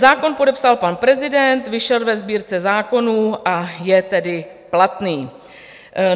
Zákon podepsal pan prezident, vyšel ve Sbírce zákonů, a je tedy platný.